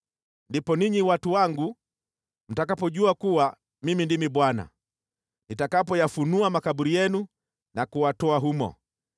Ndipo ninyi watu wangu, mtakapojua kuwa Mimi ndimi Bwana , nitakapoyafunua makaburi yenu na kuwatoa humo.